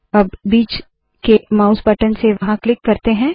अब बीच के माउस बटन से वहाँ क्लिक करते है